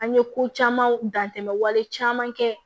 An ye ko camanw dantɛmɛ wale caman kɛ